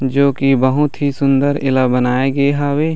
जो की बहुत ही सुन्दर एला बनाए गे हावे।